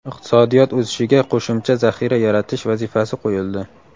iqtisodiyot o‘sishiga qo‘shimcha zaxira yaratish vazifasi qo‘yildi.